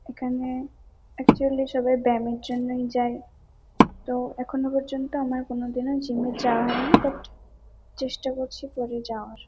এখানে একচুয়ালি সবাই ব্যায়ামের জন্যই যায়। তো এখনো পর্যন্ত আমার কোনোদিনও জিম -এ যাওয়া হয়নি বাট চেষ্টা করছি পরে যাওয়ার।